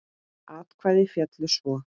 Atkvæði féllu svo